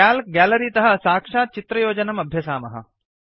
calc gallery तः सक्षात् चित्रयोजनम् अभ्यसामः